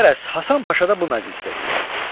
Qərəz, Həsən Paşa da bu məclisdə idi.